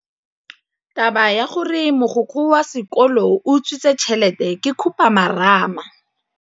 Taba ya gore mogokgo wa sekolo o utswitse tšhelete ke khupamarama.